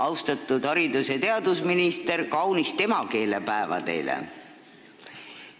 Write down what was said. Austatud haridus- ja teadusminister, kaunist emakeelepäeva teile!